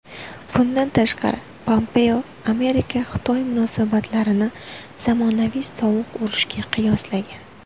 Bundan tashqari, Pompeo AmerikaXitoy munosabatlarini zamonaviy sovuq urushga qiyoslagan.